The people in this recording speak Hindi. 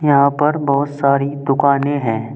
यहां पर बहुत सारी दुकाने हैं।